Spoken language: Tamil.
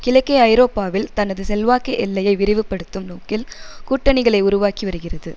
கிழக்கு ஐரோப்பாவில் தனது செல்வாக்கு எல்லையை விரிவுபடுத்தும் நோக்கில் கூட்டணிகளை உருவாக்கி வருகிறது